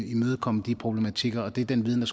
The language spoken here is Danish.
imødekomme de problematikker og det er den viden